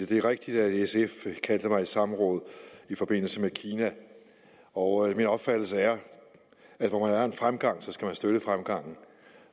det er rigtigt at sf kaldte mig i samråd i forbindelse med kina og min opfattelse er at hvor der er en fremgang skal man støtte fremgangen